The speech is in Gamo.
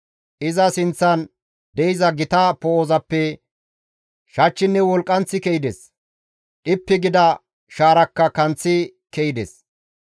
Iza sinththan de7iza gita poo7ozappe shachchinne wolqqanththi ke7ides; dhippi gida shaarakka kanththi ke7ides.